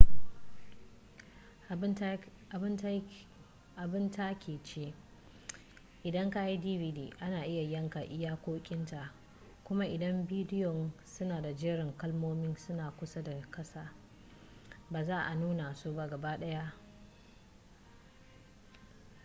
abun takaici idan kayi dvd ana iya yanka iyakokin ta kuma idan bidiyon suna da jerin kalmomin suna kusa da kasa ba za a nuna su gabaɗaya ba